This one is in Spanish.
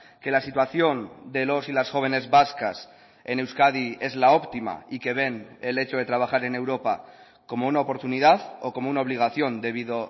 que la situación de los y las jóvenes vascas en euskadi es la óptima y que ven el hecho de trabajar en europa como una oportunidad o como una obligación debido